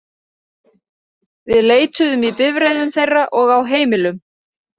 Við leituðum í bifreiðum þeirra og á heimilum.